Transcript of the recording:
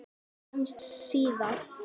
Sjáumst síðar.